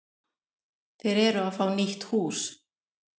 Þeir eru að fá nýtt hús.